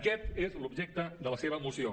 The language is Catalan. aquest és l’objecte de la seva moció